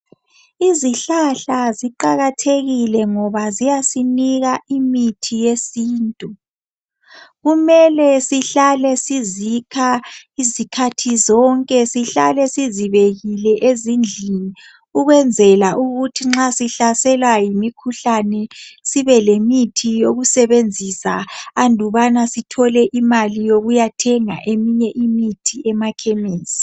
Izihlahla ziqakathekile ngoba ziyasinika imithi yesintu. Kumele sihlale sizikha izikhathi zonke ,sihlale sizibekile ezindlini ukwenzela ukuthi nxa sihlaselwa yimikhuhlane sibe lemithi yokusebenzisa andubana sithole imali yokuyathenga eminye imithi emakhemisi.